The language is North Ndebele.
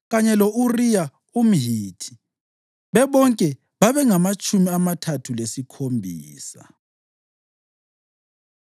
kanye lo-Uriya umHithi. Bebonke babengamatshumi amathathu lesikhombisa.